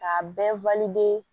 Ka